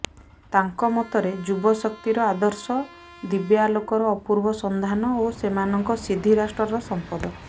ତାଙ୍କ ମତରେ ଯୁବଶକ୍ତିର ଆଦର୍ଶ ଦିବ୍ୟାଲୋକର ଅପୂର୍ବ ସନ୍ଧାନ ଓ ସେମାନଙ୍କ ସିଦ୍ଧି ରାଷ୍ଟ୍ରର ସଂପଦ